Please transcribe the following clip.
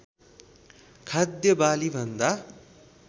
खाद्य बाली भन्दा